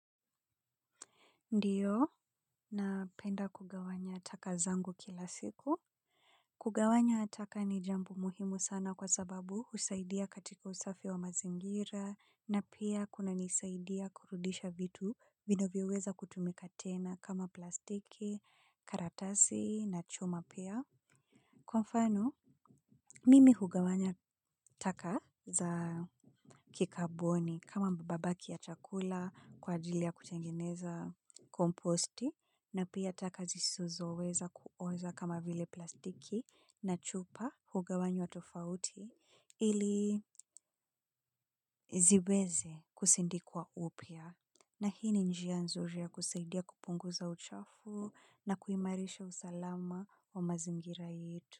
Ndiyo, napenda kugawanya taka zangu kila siku. Kugawanya taka ni jambo muhimu sana kwa sababu husaidia katika usafi wa mazingira na pia kunanisaidia kurudisha vitu vinavyoweza kutumika tena kama plastiki, karatasi na chuma pia. Kwa mfano, mimi hugawanya taka za kikaboni kama mabaki ya chakula kwa jajili ya kutengeneza komposti na pia taka zisizo weza kuoza kama vile plastiki na chupa hugawanywa tofauti ili ziweze kusindikwa upia. Na hii ni njia nzuri ya kusaidia kupunguza uchafu na kuimarisha usalama wa mazingira yetu.